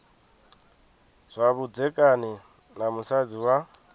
zwa vhudzekani na musadzi wa